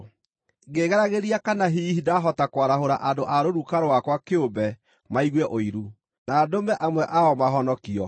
ngĩĩgeragĩria kana hihi ndahota kwarahũra andũ a rũruka rwakwa kĩũmbe maigue ũiru, na ndũme amwe ao mahonokio.